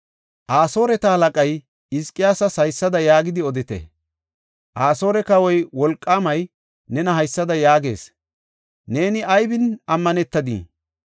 Asooreta halaqay, “Hizqiyaasas haysada yaagidi odite. Asoore kawoy, wolqaamay nena haysada yaagees; ‘Neeni aybin ammanetadii?